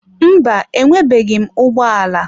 Mba, enwebeghị m ụgbọ ala.